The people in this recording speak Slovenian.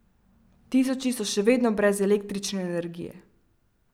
Tisoči so še vedno brez električne energije.